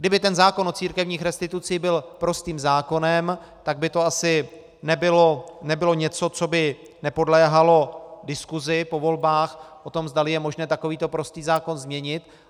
Kdyby ten zákon o církevních restitucí byl prostým zákonem, tak by to asi nebylo něco, co by nepodléhalo diskusi po volbách o tom, zdali je možné takovýto prostý zákon změnit.